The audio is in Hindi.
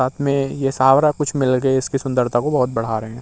साथ में ये इसकी सुंदरता को बहुत बढ़ा रहे हैं।